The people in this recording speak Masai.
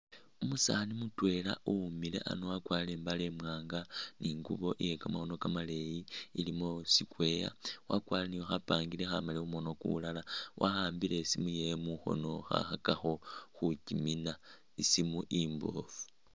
Umusaani mutwela uwimile ano wakwarire imbale imwanga ni ingubo iye kamakhono kamaleyi ilimo square, wakwarire ni khapangiri khamali mu mukhono kumulala wa'ambile isimu yewe mukhono kha khakakho khukyimina, isimu imbofu.